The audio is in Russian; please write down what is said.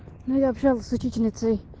ну я шёл с учительницей